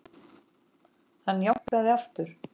Hann jánkaði aftur.